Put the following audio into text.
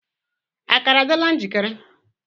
Akara adịla njikere?